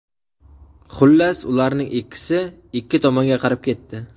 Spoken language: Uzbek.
Xullas, ularning ikkisi ikki tomonga qarab ketdi.